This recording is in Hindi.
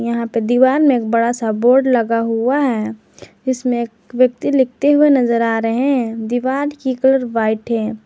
यहां पे दीवाल में एक बड़ा सा बोर्ड लगा हुआ है इसमें एक व्यक्ति लिखते हुए नजर आ रहे हैं दीवाल की कलर व्हाइट है।